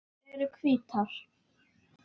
Þær eru hvítar.